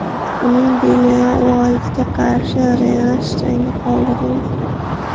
Uning Dillian Uaytga qarshi revansh jangi qoldirildi.